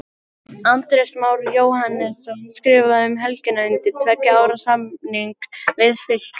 Andrés Már Jóhannesson skrifaði um helgina undir tveggja ára samning við Fylki.